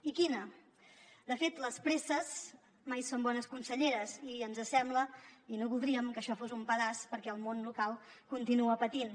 i quina de fet les presses mai són bones conselleres i ens sembla i no voldríem que això fos un pedaç perquè el món local continua patint